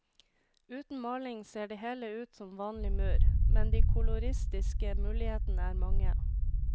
Uten maling ser det hele ut som vanlig mur, men de koloristiske mulighetene er mange.